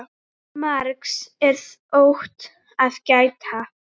Margs er þó að gæta.